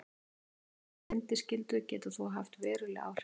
Breytingar á bindiskyldu geta þó haft veruleg áhrif.